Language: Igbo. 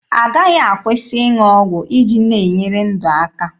Agaghị akwụsị ịṅụ ọgwụ iji na-enyere ndụ aka.